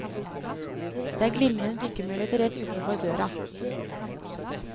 Det er glimrende dykkemuligheter rett utenfor døra.